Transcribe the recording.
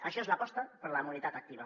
això és l’aposta per la mobilitat activa